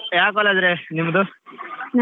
ಯಾವ್ college ರಿ ನಿಮ್ದು?